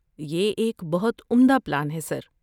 یہ ایک بہت عمدہ پلان ہے سر۔